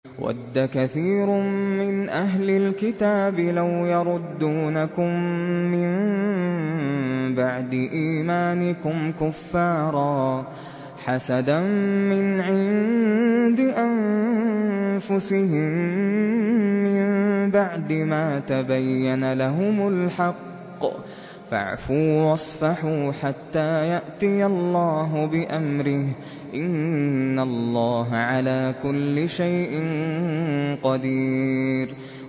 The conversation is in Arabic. وَدَّ كَثِيرٌ مِّنْ أَهْلِ الْكِتَابِ لَوْ يَرُدُّونَكُم مِّن بَعْدِ إِيمَانِكُمْ كُفَّارًا حَسَدًا مِّنْ عِندِ أَنفُسِهِم مِّن بَعْدِ مَا تَبَيَّنَ لَهُمُ الْحَقُّ ۖ فَاعْفُوا وَاصْفَحُوا حَتَّىٰ يَأْتِيَ اللَّهُ بِأَمْرِهِ ۗ إِنَّ اللَّهَ عَلَىٰ كُلِّ شَيْءٍ قَدِيرٌ